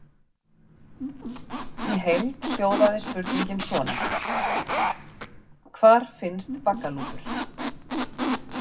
Í heild hljóðaði spurningin svona: Hvar finnst baggalútur?